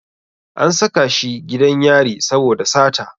An saka shi gidan yari saboda sata.